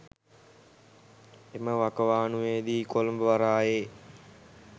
එම වකවානුවේදී කොළඹ වරායේ